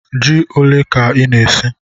Jí ólé kà ị na-ésí?